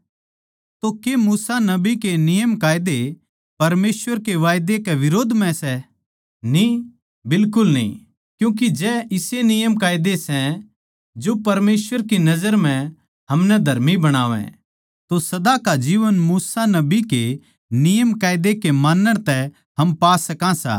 तो के मूसा नबी के नियमकायदे परमेसवर के वादै कै बिरोध म्ह सै न्ही बिल्कुल न्ही क्यूँके जै इसे नियमकायदे सै जो परमेसवर की नजर म्ह हमनै धर्मी बणावै तो सदा का जीवन मूसा नबी के नियमकायदा के मानण तै हम पा सकां सां